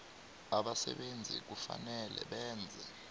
abasebenzi kufanele benze